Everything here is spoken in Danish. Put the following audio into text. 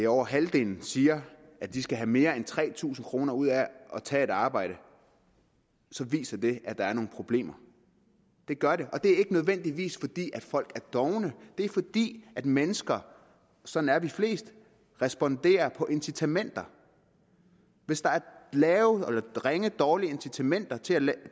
over halvdelen siger at de skal have mere end tre tusind kroner ud af at tage et arbejde så viser det at der er nogle problemer det gør det og det er ikke nødvendigvis fordi folk er dovne det er fordi mennesker sådan er de fleste responderer på incitamenter hvis der er dårlige incitamenter til